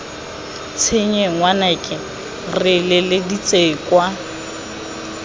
tshenye ngwanaka re letseditse kwa